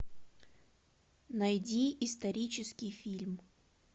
найди исторический фильм